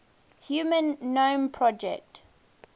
human genome project